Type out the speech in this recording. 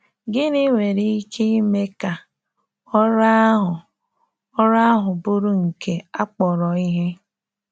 Gịnị nwere ike ime ka ọrụ ahụ ọrụ ahụ bụrụ nke a kpọrọ ihe?